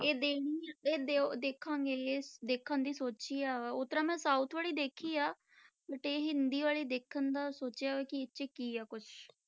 ਇਹ ਇਹ ਦਿਓ ਦੇਖਾਂਗੇ ਇਹ ਦੇਖਣ ਦੀ ਸੋਚੀ ਆ ਓਦਾਂ ਮੈਂ south ਵਾਲੀ ਦੇਖੀ ਆ but ਇਹ ਹਿੰਦੀ ਵਾਲੀ ਦੇਖਣ ਦਾ ਸੋਚਿਆ ਵਾ ਕਿ ਇਹ 'ਚ ਕੀ ਆ ਕੁਛ।